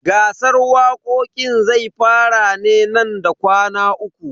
Gasar waƙoƙin zai fara ne nan da kwana uku.